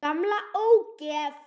Gamla ógeð!